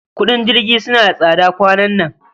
Kudin jirgi sunna da tsada kwanan nan